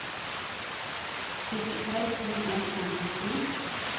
syttiseks tusen ett hundre og ti